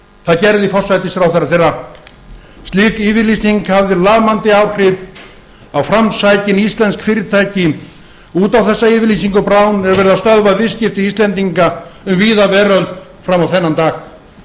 það gerði forsætisráðherra þeirra slík yfirlýsing hafði lamandi áhrif á framsækin íslensk fyrirtæki út á þessa yfirlýsingu brown er verið að stöðva viðskipti íslendinga um víða veröld fram á þennan dag